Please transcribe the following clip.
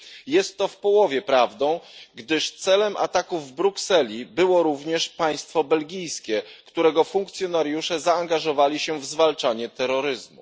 Jest to w połowie prawdą, gdyż celem ataków w Brukseli było również państwo belgijskie, którego funkcjonariusze zaangażowali się w zwalczanie terroryzmu.